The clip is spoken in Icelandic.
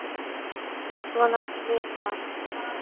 Svona svipað.